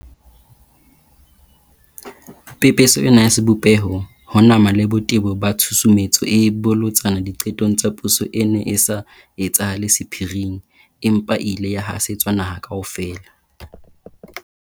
Pepeso ena ya sebopeho, ho nama le botebo ba tshusumetso e bolotsana diqetong tsa puso e ne e sa etsahale sephiring, empa e ile ya hasetswa naha kaofela.